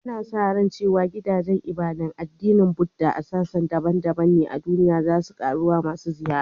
Ana sa ran cewa gidajen ibadar addinin Buddah a sassa daban-daban na duniya za su ga ƙaruwar masu ziyara